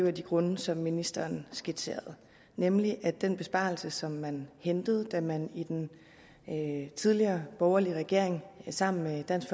af de grunde som ministeren skitserede nemlig at den besparelse som man hentede da man i den tidligere borgerlige regering sammen med dansk